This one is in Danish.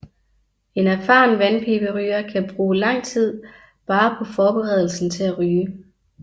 En erfaren vandpiberyger kan bruge lang tid bare på forberedelsen til at ryge